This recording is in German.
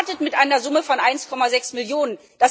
Wir sind gestartet mit einer Summe von 1,6 Millionen.